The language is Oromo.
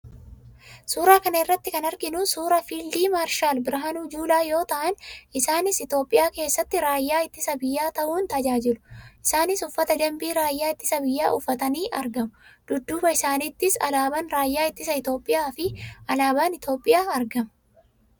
Suuraa kana irratti kan arginu suuraa fiildi maarshaal Birhaanuu Juulaa yoo ta'an, isaanis Itoophiyaa keessatti raayya ittisa biyyaa ta'uun tajaajilu. Isaanis uffata danbii raayyaa ittisa biyyaa uffatanii argamu. Dudduuba isaaniittis alaabaan raayaa ittisa Itoophiyaa fi alaabaan Itoophiyaa argama.